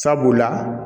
Sabula